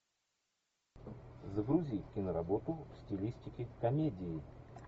загрузи киноработу в стилистике комедии